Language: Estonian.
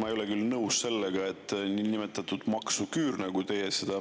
Ma ei ole küll nõus sellega, et niinimetatud maksuküür, nagu teie seda